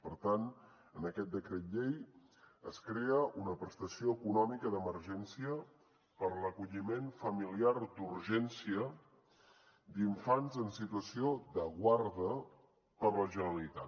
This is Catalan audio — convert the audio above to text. per tant en aquest decret llei es crea una prestació econòmica d’emergència per a l’acolliment familiar d’urgència d’infants en situació de guarda per a la generalitat